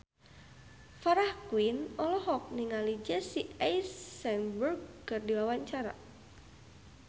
Farah Quinn olohok ningali Jesse Eisenberg keur diwawancara